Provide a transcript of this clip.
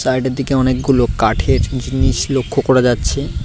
সাইডের দিকে অনেকগুলো কাঠের জিনিস লক্ষ্য করা যাচ্ছে।